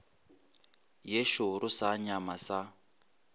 ye šoro sa nyama sa